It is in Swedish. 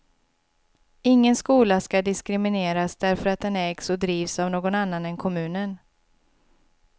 Ingen skola skall diskrimineras därför att den ägs och drivs av någon annan än kommunen.